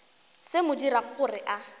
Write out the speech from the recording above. se mo dirago gore a